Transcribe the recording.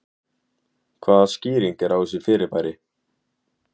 Hvaða skýring er á þessu fyrirbæri?